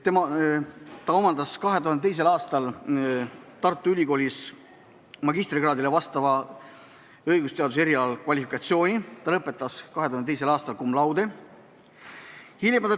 Ta on Tartu Ülikoolis omandanud õigusteaduse erialal magistrikraadile vastava kvalifikatsiooni: ta lõpetas 2002. aastal cum laude.